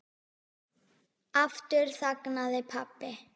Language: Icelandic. Aftur þagnaði pabbi.